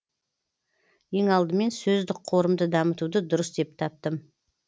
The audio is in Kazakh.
ең алдымен сөздік қорымды дамытуды дұрыс деп таптым